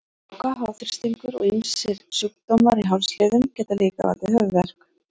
Gláka, háþrýstingur og ýmsir sjúkdómar í hálsliðum geta líka valdið höfuðverk.